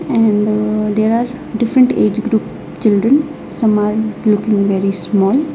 And there are different age group children some are looking very small.